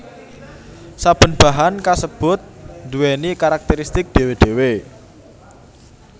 Saben bahan kasebut nduwèni karakteristik dhéwé dhéwé